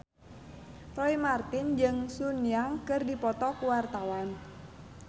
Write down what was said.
Roy Marten jeung Sun Yang keur dipoto ku wartawan